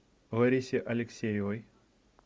ларисе алексеевой